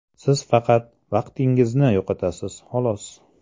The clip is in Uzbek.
Siz faqat vaqtingizni yo‘qotasiz, xolos.